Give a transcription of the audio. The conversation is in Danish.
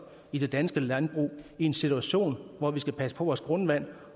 i det danske landbrug i en situation hvor vi skal passe på vores grundvand